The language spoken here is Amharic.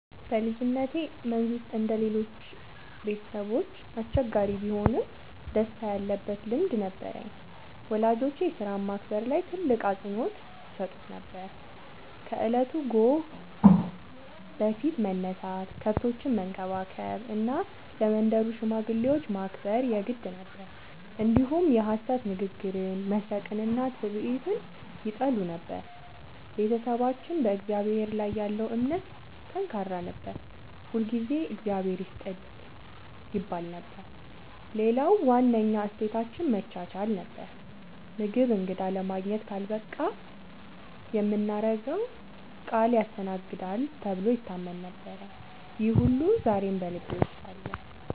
በልጅነቴ መንዝ ውስጥ እንደ ሌሎቹ ቤተሰቦች አስቸጋሪ ቢሆንም ደስታ ያለበት ልምድ ነበረኝ። ወላጆቼ ሥራን ማክበር ላይ ትልቅ አፅንዖት ይሰጡ ነበር፤ ከእለቱ ጎህ በፊት መነሳት፣ ከብቶችን መንከባከብ እና ለመንደሩ ሽማግሌዎች ማክበር የግድ ነበር። እንዲሁም የሐሰት ንግግርን፣ መስረቅንና ትዕቢትን ይጠሉ ነበር። ቤተሰባችን በእግዚአብሔር ላይ ያለው እምነት ጠንካራ ነበር፤ ሁልጊዜ “እግዚአብሔር ይስጥህ” ይባል ነበር። ሌላው ዋነኛ እሴታችን መቻቻል ነበር፤ ምግብ እንግዳ ለማግኘት ካልበቃ የምናገረው ቃል ያስተናግዳል ተብሎ ይታመን ነበር። ይህ ሁሉ ዛሬም ልቤ ውስጥ አለ።